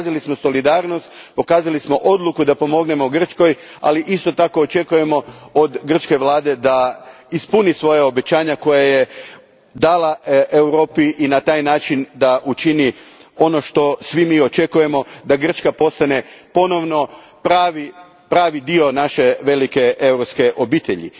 Pokazali smo solidarnost, pokazali smo odluku da pomognemo Grčkoj, ali isto tako očekujemo od grčke vlade da ispuni svoja obećanja koja je dala Europi i na taj način učini ono što svi mi očekujemo da Grčka postane ponovno pravi dio naše velike europske obitelji.